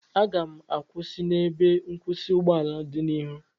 Aga m akwụsị n'ebe nkwụsị ụgbọala dị n'ihu